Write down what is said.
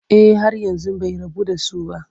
Eh har yanzu bai rabu da su ba.